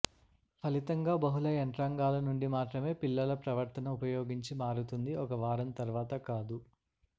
ఫలితంగా బహుళ యంత్రాంగాలు నుండి మాత్రమే పిల్లల ప్రవర్తన ఉపయోగించి మారుతుంది ఒక వారం తర్వాత కాదు